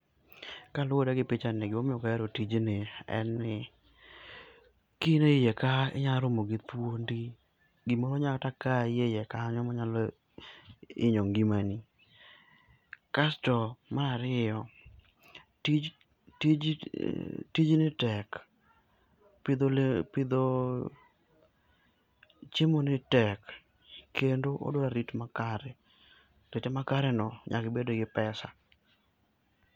Kaluore gi pichani, gimo omiyo oka hero tijni en ni kain e iye ka inya romo gi thuondi, gimoro nya kata kayi eiye kanyo manyalo hinyo ngimani, kasto mar ariyo, mar ariyo, tijni tek. Pidho chiemo ni tek kendo odwa rit makare, kete makare no nyaka ibed gi pesa